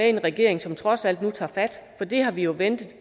i en regering som trods alt nu tager fat det har vi jo ventet